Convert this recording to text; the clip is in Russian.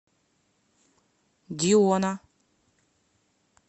диона